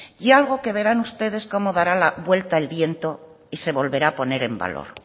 y algo que verán ustedes como dará vuelta el viento y se volverá a poner en valor